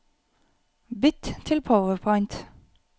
Bytt til PowerPoint